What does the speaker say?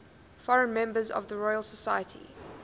foreign members of the royal society